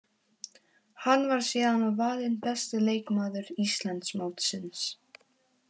Hann var síðan valinn besti leikmaður Íslandsmótsins.